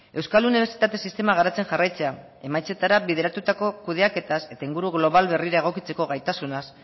euskal unibertsitate sistema garatzen jarraitzea emaitzetara bideratutako kudeaketaz eta inguru global berrira egokitzeko gaitasunaz